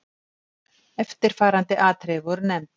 Eftirfarandi atriði voru nefnd